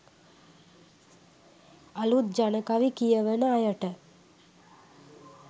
අළුත් ජනකවි කියවන අයට